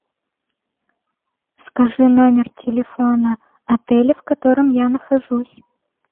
скажи номер телефона отеля в котором я нахожусь